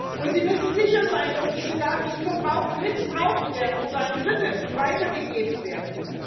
Und sie müssen sicher sein, dass diese Daten nicht missbraucht werden oder an Dritte weitergegeben werden.